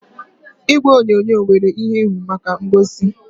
Igwe onyonyo nwere ihuenyo maka ngosi